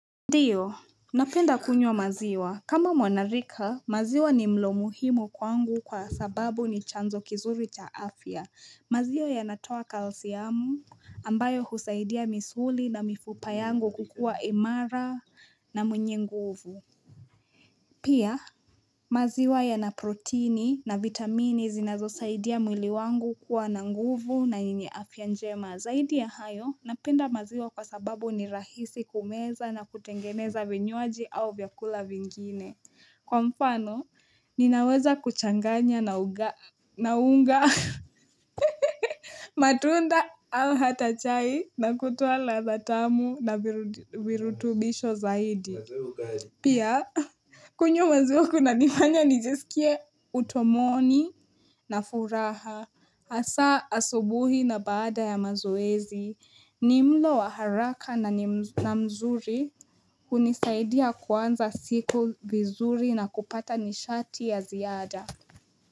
Ndiyo, napenda kunywa maziwa. Kama mwanarika, maziwa ni mlo muhimu kwangu kwa sababu ni chanzo kizuri cha afya. Maziwa yanatoa kalsiamu ambayo husaidia misuli na mifupa yangu kukua imara na mwenye nguvu. Pia, maziwa yana proteini na vitamini zinazosaidia mwili wangu kuwa na nguvu na yenye afya njema. Na zaidi ya hayo, napenda maziwa kwa sababu ni rahisi kumeza na kutengeneza vinywaji au vyakula vingine. Kwa mfano, ninaweza kuchanganya na unga matunda au hata chai na kutuo ladha tamu na virutubisho zaidi. Pia, kunywa maziwa kunanifanya nijesikie utomoni na furaha, hasa asubuhi na baada ya mazoezi. Ni mlo wa haraka na mzuri hunisaidia kuanza siku vizuri na kupata nishati ya ziada.